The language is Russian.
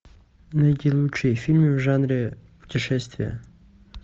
найди лучшие фильмы в жанре путешествия